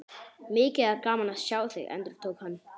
Mikið er gaman að sjá þig, endurtók hann.